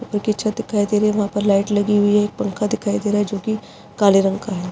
जो कि छत दिखाई दे रहा है वहाँ पर लाइट लगी हुई है पंखा दिखाई दे रहा है जो कि काले रंग का है।